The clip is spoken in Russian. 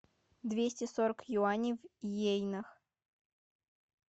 двести сорок юаней в йенах